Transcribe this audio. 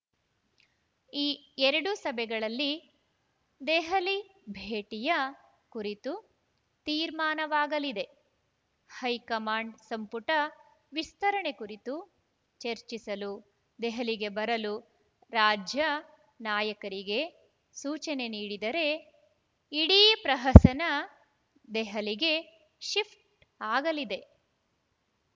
ಈ ಎರಡು ಸಭೆಗಳಲ್ಲಿ ದೆಹಲಿ ಭೇಟಿಯ ಕುರಿತು ತೀರ್ಮಾನವಾಗಲಿದೆ ಹೈಕಮಾಂಡ್‌ ಸಂಪುಟ ವಿಸ್ತರಣೆ ಕುರಿತು ಚರ್ಚಿಸಲು ದೆಹಲಿಗೆ ಬರಲು ರಾಜ್ಯ ನಾಯಕರಿಗೆ ಸೂಚನೆ ನೀಡಿದರೆ ಇಡೀ ಪ್ರಹಸನ ದೆಹಲಿಗೆ ಶಿಫ್ಟ್‌ ಆಗಲಿದೆ